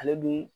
Ale dun